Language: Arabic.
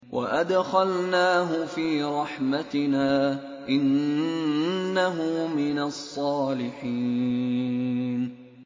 وَأَدْخَلْنَاهُ فِي رَحْمَتِنَا ۖ إِنَّهُ مِنَ الصَّالِحِينَ